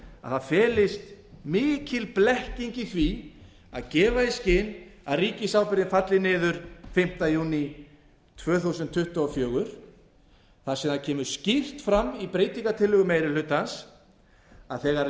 að það felist mikil blekking í því að gefa í skyn að ríkisábyrgðin falli niður fimmta júní tvö þúsund tuttugu og fjögur þar sem skýrt kemur fram í breytingartillögu meiri hlutans að þegar